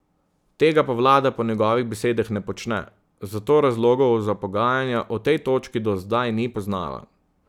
Tega pa vlada po njegovih besedah ne počne, zato razlogov za pogajanja o tej točki do zdaj ni poznala.